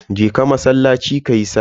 Je ka masallaci kayi sallah.